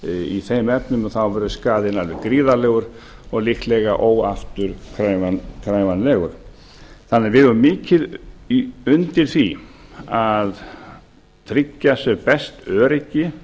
í þeim efnum þá verður skaðinn alveg gríðarlegur og líklega óafturkræfanlegur þannig að við eigum mikið undir því að tryggja sem best öryggi